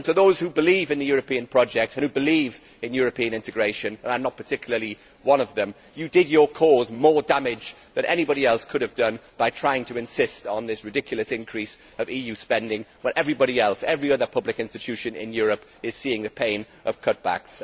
To those who believe in the European project and who believe in European integration and I am not particularly one of them you did your cause more damage than anybody else could have done by trying to insist on this ridiculous increase in EU spending when everybody else, every other public institution in Europe, is seeing the pain of cutbacks.